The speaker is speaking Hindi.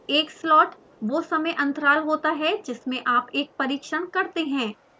एक slot वो समय अन्तराल होता है जिसमे आप एक परिक्षण करते हैं